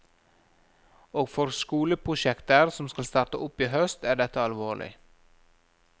Og for skoleprosjekter som skal starte opp i høst, er dette alvorlig.